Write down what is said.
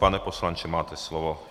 Pane poslanče, máte slovo.